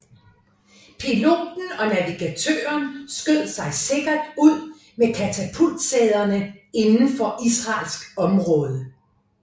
Piloten og navigatøren skød sig sikkert ud med katapultsæderne indenfor israelsk område